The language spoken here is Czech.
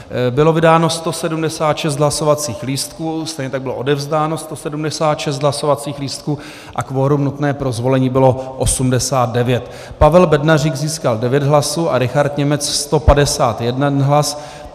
Bylo vydáno 176 hlasovacích lístků, stejně tak bylo odevzdáno 176 hlasovacích lístků a kvorum nutné pro zvolení bylo 89. Pavel Bednařík získal 9 hlasů a Richard Němec 151 hlasů.